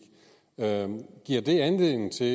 giver det anledning til at